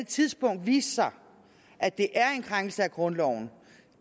tidspunkt vise sig at det er en krænkelse af grundloven